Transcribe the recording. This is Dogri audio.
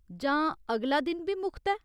जां अगला दिन बी मुख्त ऐ ?